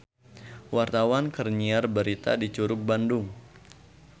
Wartawan keur nyiar berita di Curug Bandung